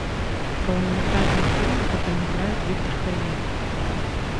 полнометражный фильм в котором играет виктор хориняк